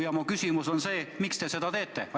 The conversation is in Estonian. Ja mu küsimus on: miks te seda teete?